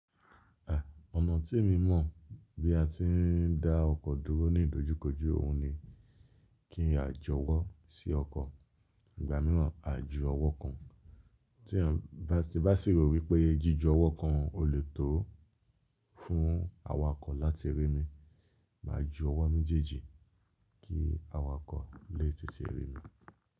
Ọ̀nà tí èmi mọ̀ bí a ti ń dá ọkọ̀ dúró ní ìdojúkojú òhun ni kí n à jọwọ́ sí ọkọ̀, ìgbà míràn a ju ọwọ́ kan. Tí eyan bá sì rò wípé jíju ọwọ́ kan ò lè tó fún awakọ̀ láti rí mi, mà á ju ọwọ́ méjèèjì kí awakọ̀ lè tètè rí mi.